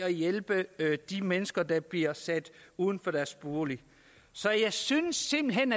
at hjælpe de mennesker der bliver sat ud af deres bolig så jeg synes simpelt hen